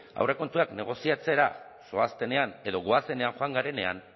aurrekontuak negoziatzera zoaztenean edo goazenean joan garenean